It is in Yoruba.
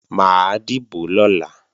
Mà á dìbò lọ́la